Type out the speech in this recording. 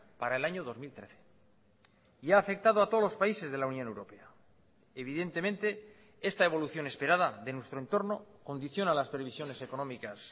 para el año dos mil trece y ha afectado a todos los países de la unión europea evidentemente esta evolución esperada de nuestro entorno condiciona las previsiones económicas